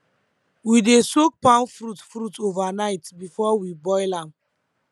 we dey soak palm fruit fruit overnight before we boil am